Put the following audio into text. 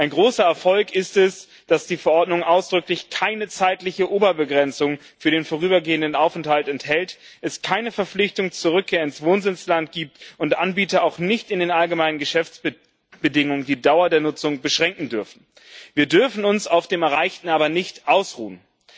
Ein großer Erfolg ist es, dass die Verordnung ausdrücklich keine zeitliche Oberbegrenzung für den vorübergehenden Aufenthalt enthält, es keine Verpflichtung zur Rückkehr ins Wohnsitzland gibt und Anbieter auch nicht in den Allgemeinen Geschäftsbedingungen die Dauer der Nutzung beschränken dürfen. Wir dürfen uns auf dem Erreichten aber nicht ausruhen.